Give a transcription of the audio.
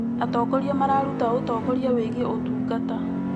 Atongoria mararuta ũtongoria wĩgiĩ ũtungata.